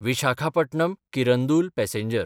विशाखापटणम–किरंदूल passenger